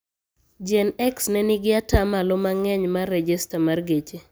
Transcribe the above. Gen x nenigi ataa malo mangeny mar rejesta mar geche.